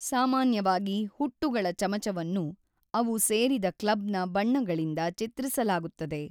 ಸಾಮಾನ್ಯವಾಗಿ ಹುಟ್ಟುಗಳ ಚಮಚವನ್ನು ಅವು ಸೇರಿದ ಕ್ಲಬ್‌ನ ಬಣ್ಣಗಳಿಂದ ಚಿತ್ರಿಸಲಾಗುತ್ತದೆ.